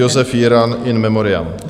Josef Jiran, in memoriam.